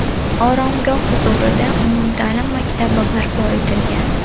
Oromgoh huzurida umumta’lim maktabi barpo etilgan.